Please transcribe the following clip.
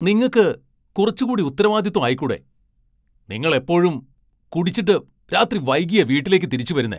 നിങ്ങക്ക് കുറച്ചുകൂടി ഉത്തരാവാദിത്വം ആയിക്കൂടെ ? നിങ്ങൾ എപ്പോഴും കുടിച്ചിട്ട് രാത്രി വൈകിയാ വീട്ടിലേക്ക് തിരിച്ചു വരുന്നേ .